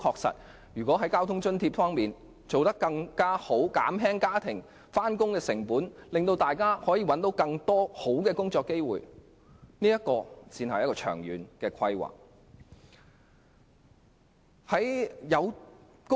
在交通津貼方面作出改善，減輕市民的上班成本，令大家能有更多更好的工作機會，才是長遠規劃。